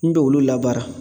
N be olu labara